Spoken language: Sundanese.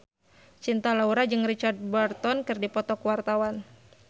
Cinta Laura jeung Richard Burton keur dipoto ku wartawan